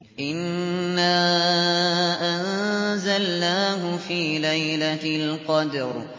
إِنَّا أَنزَلْنَاهُ فِي لَيْلَةِ الْقَدْرِ